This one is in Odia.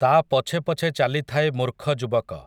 ତା' ପଛେ ପଛେ ଚାଲିଥାଏ ମୂର୍ଖ ଯୁବକ ।